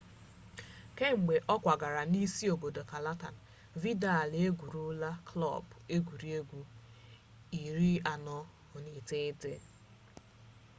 kemgbe ọ kwagara na isi obodo catalan vidal egwurula klọb egwuregwu 49